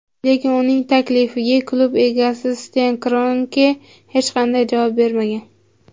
lekin uning taklifiga klub egasi Sten Kronke hech qanday javob bermagan.